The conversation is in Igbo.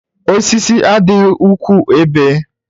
Osisi adịghị ukwuu ebe